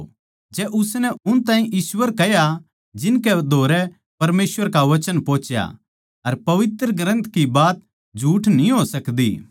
जै उसनै उन ताहीं ईश्‍वर कह्या जिनकै धोरै परमेसवर का वचन पोहुच्या अर पवित्र ग्रन्थ की बात झूठ न्ही हो सकदी